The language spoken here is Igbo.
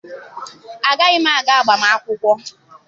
Agaghị m aga agbamakwụkwọ.